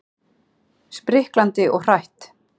Spriklandi og hrætt.